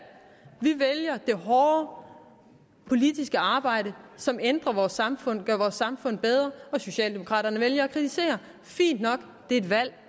vi vælger det hårde politiske arbejde som ændrer vores samfund gør vores samfund bedre og socialdemokraterne vælger at kritisere fint nok det er et valg